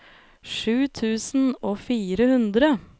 sju tusen og fire hundre